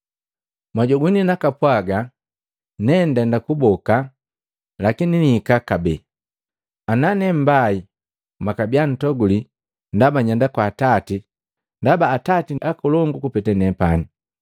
Mwanyogwini panapwaga, ‘Nendenda kuboka, lakini niihika kabee.’ Ana nee mmbaii, mwakabia ntoguli ndaba nyenda kwa Atati, ndaba Atati nkolongu kupeta nepani.